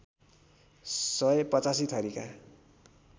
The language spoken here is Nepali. सय ८५ थरीका